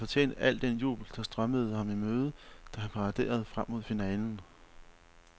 Han havde fortjent al den jubel, der strømmede ham i møde, da han paraderede frem mod finalen.